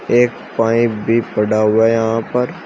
एक पाइप भी पड़ा हुआ है यहां पर।